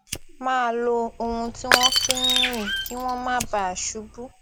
máa lo ohun tí wón fi ń rìn kí wón má bàa ṣubú